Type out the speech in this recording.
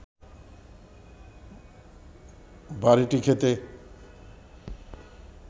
বাড়িটি খেতে